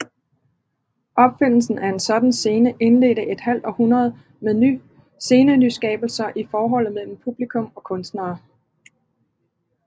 Opfindelsen af en sådan scene indledte et halvt århundrede med scenenyskabelser i forholdet mellem publikum og kunstnere